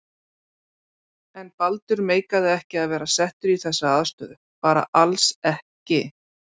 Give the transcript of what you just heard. En Baldur meikaði ekki að vera settur í þessa aðstöðu, bara alls ekki.